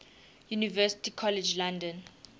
university college london